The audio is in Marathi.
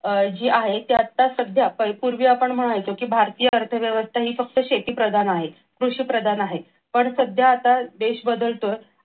अह ती आता सध्या काही पूर्वी आपण म्हणायचो की भारतीय अर्थव्यवस्था ही फक्त शेतीप्रधान आहे. कृषिप्रधान आहे. पण सध्या आता देश बदलतोय.